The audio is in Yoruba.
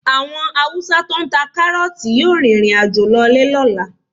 Àwọn Haúsá tó ń ta kárọ́ọ̀tì yóò rìnrìn àjò lọlé lọ́la.